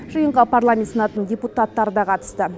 жиынға парламент сенатының депутаттары да қатысты